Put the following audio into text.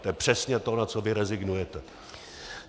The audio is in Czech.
To je přesně to, na co vy rezignujete.